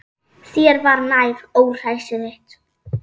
Þér var nær, óhræsið þitt.